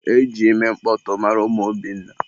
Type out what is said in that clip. E ji ime mkpọtụ mara ụmụ Obinna.